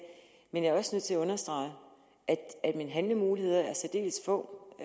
men jeg er også nødt til at understrege at mine handlemuligheder er særdeles få